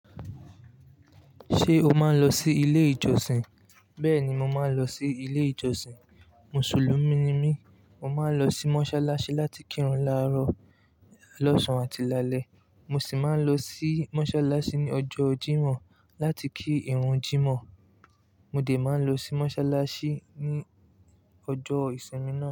Ṣé o máa ń lọ sí ilé ìjọsìn? Bẹ́ẹ̀ ni, mo máa ń lọ sí ilé ìjọsìn. Mùsùlùmí ni mí, mo máa ń lọ sí mọ́ṣáláṣí láti kírun láàárọ̀, lọ́sàn-án àti lálẹ́. Mo sì máa ń lọ sí mọ́ṣáláṣí ní ọjọ́ Jímọ̀ láti kí ìrun Jímọ̀. Mo dè máa ń lọ sí mọ́ṣáláṣí ní ọjọ́ ìsinmi náà.